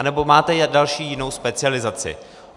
Anebo máte další, jinou specializaci.